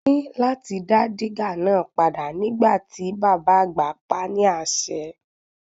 A ní láti dá dígà náà padà nígbà tí bàbá àgbà pa á ni ase.